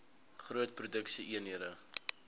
groot produksie eenhede